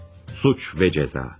Suç ve Ceza.